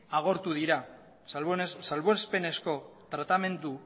agortu dira salbuespenezko tratamendu